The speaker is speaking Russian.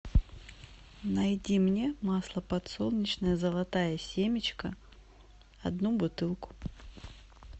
найди мне масло подсолнечное золотая семечка одну бутылку